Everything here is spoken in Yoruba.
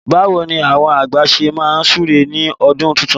Báwo ni àwọn àgbà ṣe máa súre ní ọdún tuntun?